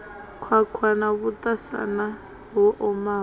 khwakhwa na vhuṱasana ho omaho